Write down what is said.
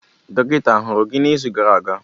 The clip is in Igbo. Dọkịta ahụrụ gị n'izu gara aga?